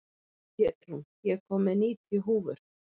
Pétrún, ég kom með níutíu húfur!